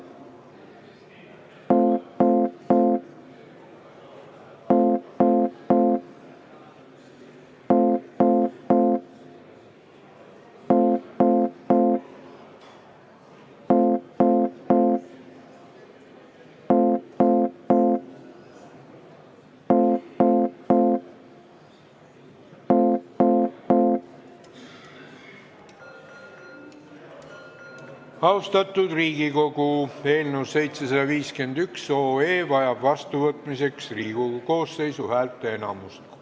Austatud Riigikogu, eelnõu 751 vajab vastuvõtmiseks Riigikogu koosseisu häälteenamust.